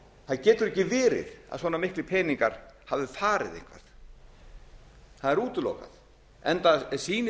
það getur ekki verið að svona miklir peningar hafi farið eitthvað það er útilokað enda sýnir